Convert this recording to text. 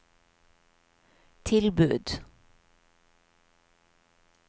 tilbud